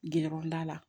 Gɛrɛda la